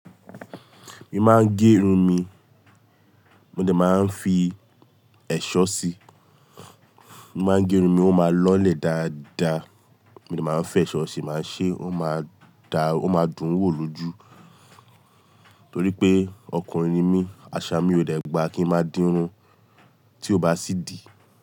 Mi máa ń gerun mi, mo dẹ̀ máa ń fi ẹ̀ṣọ́ sí i. Mo máa ń gerun mi, ó máa lọlẹ̀ dáadáa, mo dẹ̀ máa ń fẹ ẹ̀ṣọ́ sí i, máa ṣé, ó máa da, ó máa dùn wò lójú. Nítorí pé ọkùnrin ni mí, àṣà mi ò dẹ̀ gbà kí n máa dínrun, tí ó bá sì di.